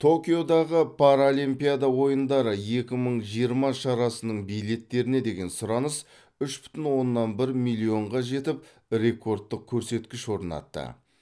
токиодағы паралимпиада ойындары екі мың жиырма шарасының билеттеріне деген сұраныс үш бүтін оннан бір миллионға жетіп рекордтық көрсеткіш орнатты